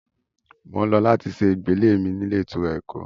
Mò ń lọ láti ṣe ìgbélé mi ní ilé ìtura Èkó